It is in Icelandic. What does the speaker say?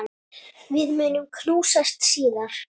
Við munum knúsast síðar.